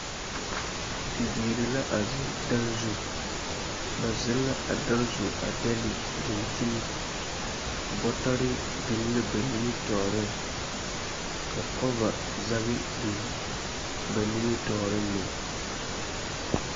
Bibiiri la a zeŋ dare zu. Ba zeŋ la a dare zu a dɛle dankyini. Bɔtɔre biŋ la ba nimitɔɔreŋ, ka kɔva zage biŋ ba nimitɔɔreŋ meŋ.